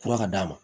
Kura ka d'a ma